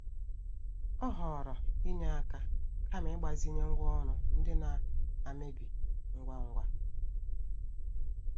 Ọ họọrọ inye aka kama ịgbazinye ngwa oru ndị na-amebi ngwa ngwa.